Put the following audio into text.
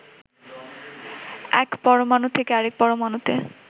এক পরমাণু থেকে আরেক পরমাণুতে